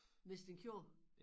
Mens den kører